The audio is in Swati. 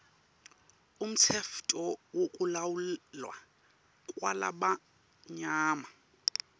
umtsetfo wekulawulwa kwalabamnyama